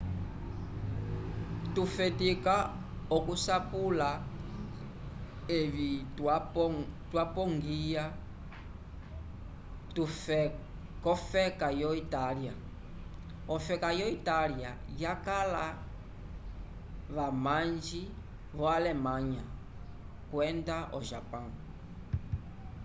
tufetika oku sapula evi twapongwya kofeka yo italya ofeka yo italya vakala vamanji vo alemanya kwenda ho japão